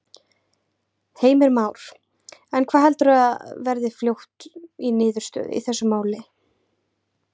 Heimir Már: En hvað heldurðu að verði fljótt í niðurstöðu í þessu máli?